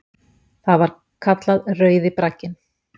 Það var kallað Rauði bragginn.